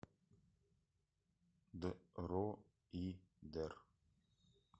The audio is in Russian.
дроидер